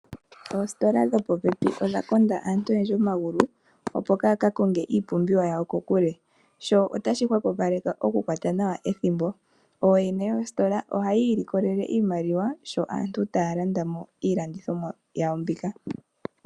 Oositola dhopopepi odha konda antu oyendji omagulu, opo yaakakonge iipumbiwa yawo kokule. Sho otashi hwapupaleke okukwata nawa ethimbo. Ooyene yoositola ohayi ilikolele iimaliwa , sho aantu taya landa mo iilandithomwa yawo mbika.